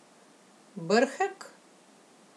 Brhek?